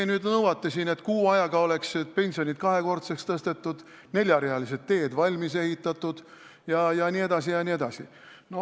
Ja nüüd te nõuate, et kuu ajaga oleksid pensionid kahekordseks tõstetud, neljarealised teed valmis ehitatud jne.